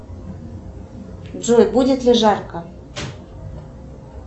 джой будет ли жарко